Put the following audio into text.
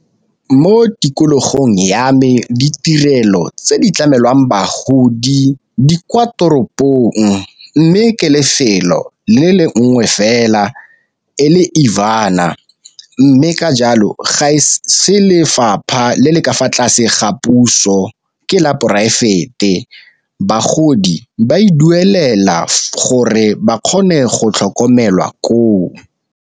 Mo tikologong ya me ditirelo tse di tlamelwang bagodi di kwa toropong, mme ke lefelo le le nngwe fela e le . Mme ka jalo ga e se lefapha le le ka fa tlase ga puso ke la poraefete bagodi ba e duelela gore ba kgone go tlhokomelwa koo.